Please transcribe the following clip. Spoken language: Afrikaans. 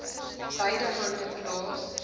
beide hande plaas